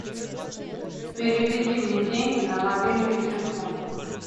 переведи мне деньги на мобильный телефон